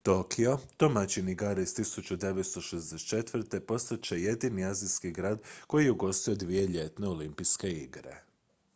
tokio domaćin igara iz 1964 postat će jedini azijski grad koji je ugostio dvije ljetne olimpijske igre